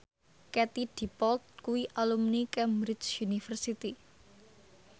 Katie Dippold kuwi alumni Cambridge University